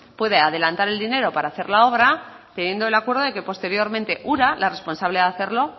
puede adelantar el dinero para hacer la obra teniendo el acuerdo que posteriormente ura la responsable de hacerlo